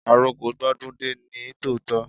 Àroko gbó dún dé ní tòótọ́.